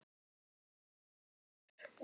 Ekki heima hjá ykkur.